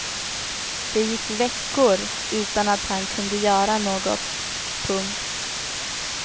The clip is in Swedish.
Det gick veckor utan att han kunde göra något. punkt